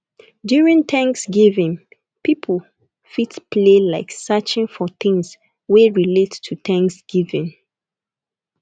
during thanks giving pipo fit play like searching for things wey relate to thanks giving